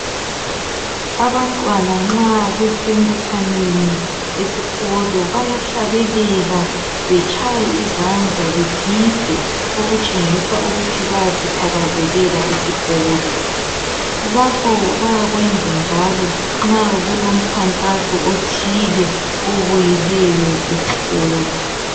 Abantwana nxa bese mbuthanweni esikolo, bayahlabelela, betshaye izandla, begide okutshengisa ukuthi bayasithakazelela isikolo. Lapho bayakwenza njalo nxa kulomkhankaso othile obuyileyo esikolo